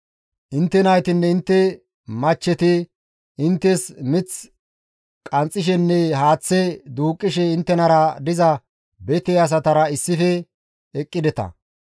Intte naytinne intte machcheti inttes mith qanxxishenne haaththe duuqqishe inttenara diza bete asatara issife eqqideta.